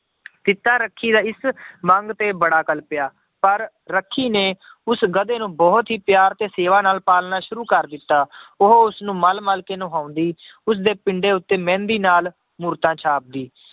ਰੱਖੀ ਦੇ ਇਸ ਮੰਗ ਤੇ ਬੜਾ ਕਲਪਿਆ ਪਰ ਰੱਖੀ ਨੇ ਉਸ ਗਧੇ ਨੂੰ ਬਹੁਤ ਹੀ ਪਿਆਰ ਤੇ ਸੇਵਾ ਨਾਲ ਪਾਲਣਾ ਸ਼ੁਰੂ ਕਰ ਦਿੱਤਾ ਉਹ ਉਸਨੂੰ ਮਲ ਮਲ ਨਹਾਉਂਦੀ ਉਸਦੇ ਪਿੰਡੇ ਉੱਤੇ ਮਹਿੰਦੀ ਨਾਲ ਮੂਰਤਾਂ ਛਾਪਦੀ